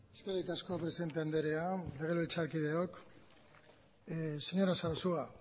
eskerrik asko presidente andrea legebiltzarkideok señora sarasua